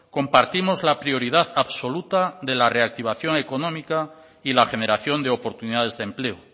compartimos la prioridad absoluta de la reactivación económica y la generación de oportunidades de empleo